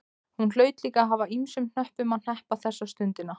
Hún hlaut líka að hafa ýmsum hnöppum að hneppa þessa stundina.